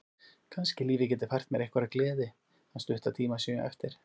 Kannski lífið geti fært mér einhverja gleði þann stutta tíma sem ég á eftir.